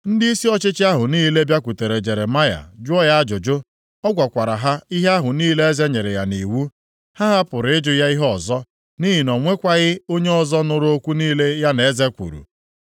Ndịisi ọchịchị ahụ niile bịakwutere Jeremaya jụọ ya ajụjụ. Ọ gwakwara ha ihe ahụ niile eze nyere ya nʼiwu. Ha hapụrụ ịjụ ya ihe ọzọ, nʼihi o nwekwaghị onye ọzọ nụrụ okwu niile ya na eze kwuru.